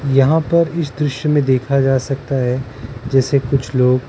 यहाँ पर इस द्रश्य में देखा जा सकता हैं जैसे कुछ लोग --